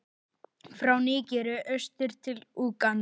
frá Nígeríu austur til Úganda.